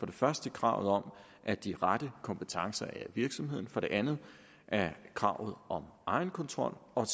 det første kravet om at de rette kompetencer er i virksomheden for det andet kravet om egenkontrol og